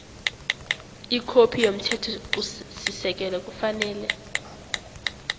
ikhophi yomthethosisekelo kufanele